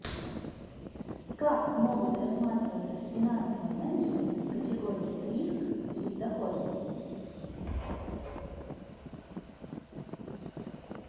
как могут рассматриваться в финансовом менеджменте категории риск и доходность